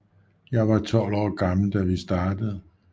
Jeg var 12 år gammel da vi startede